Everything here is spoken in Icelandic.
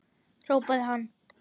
hrópaði hann.